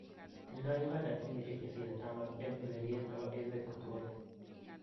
Tindoi Uganda timishek chesire taman en ureryeet nepo emeet kotugul